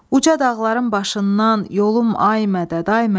Uca dağların başından, yolum, ay mədəd, ay mədəd.